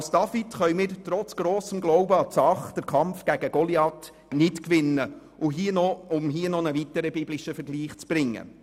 Doch als David können wir trotz grossem Glauben an die Sache den Kampf gegen Goliath nicht gewinnen, um hier noch einen weiteren biblischen Vergleich anzufügen.